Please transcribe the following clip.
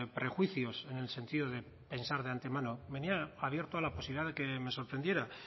prejuicios en el sentido de pensar de antemano venía abierto a la posibilidad de que me sorprendiera